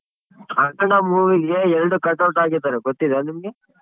ಅಖಂಡ movie ಗೆ ಎರ್ಡ್ cut out ಹಾಕಿದಾರೆ ಗೊತ್ತಿದ ನಿಮ್ಗೆ?